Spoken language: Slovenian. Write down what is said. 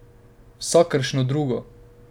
Vsakršno drugo?